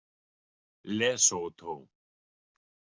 Lesótó